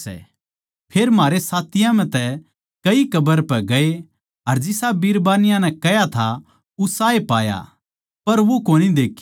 फेर म्हारै साथियां म्ह तै कई कब्र पै ग्ये अर जिसा बिरबान्नी नै कह्या था उसाए पाया पर वो कोनी देख्या